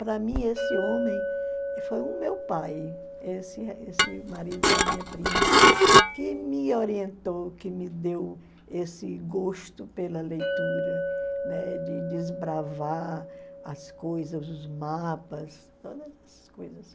Para mim, esse homem foi o meu pai, esse esse marido da minha prima, que me orientou, que me deu esse gosto pela leitura, né, de desbravar as coisas, os mapas, essas coisas.